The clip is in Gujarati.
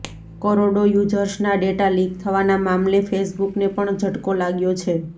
કરોડો યુઝર્સના ડેટા લીક થવાના મામલે ફેસબુકને પણ ઝટકો લાગ્યો છે